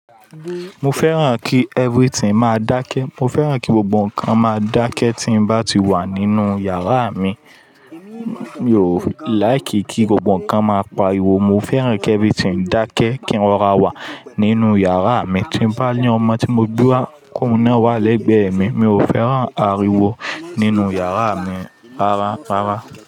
Mo fẹ́ràn kí everything máa dákẹ́. Mo fẹ́ràn kí gbogbo ǹkan máa dákẹ́ tí ń bá ti wà nínú yàrá mi. Mi ò like kí gbogbo ǹkan máa pariwo. Mo fẹ́ràn kí everything dákẹ́ kí ń rọra wà nínú yàrá mi. Tí ń bá ní ọmọ tí mo gbé wá, k' òhun na wá lẹ́gbẹ̀ẹ́ mi. Mi ò fẹ́ràn ariwo nínú yàrá mi rara, rara.